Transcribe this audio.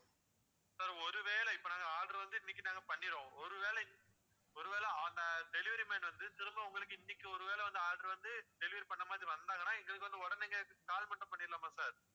sir ஒரு வேளை இப்போ நாங்க order வந்து இன்னைக்கு நாங்க பண்ணிடுவோம் ஒரு வேளை இன்~ ஒருவேளை அந்த delivery man வந்து திரும்ப உங்களுக்கு இன்னைக்கு வந்து order வந்து delivery பண்ணற மாதிரி வந்தாங்கன்னா எங்களுக்கு வந்து உடனே நீங்க call மட்டும் பண்ணிடலாமா sir